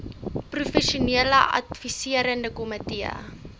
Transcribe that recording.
professionele adviserende komitee